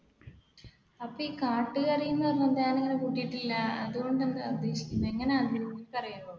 അപ്പ ഈ കാട്ടുകറി അതുകൊണ്ട് എന്താണ് ഉദ്ദേശിക്കുന്നത്